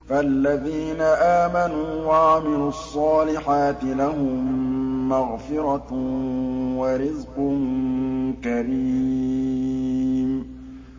فَالَّذِينَ آمَنُوا وَعَمِلُوا الصَّالِحَاتِ لَهُم مَّغْفِرَةٌ وَرِزْقٌ كَرِيمٌ